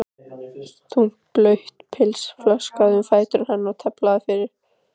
Þungt blautt pilsið flaksast um fætur hennar og tefur fyrir.